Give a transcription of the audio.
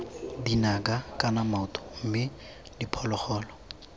dinaka kana maoto mme diphologolo